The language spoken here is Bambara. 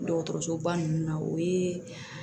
Dɔgɔtɔrɔsoba ninnu na o ye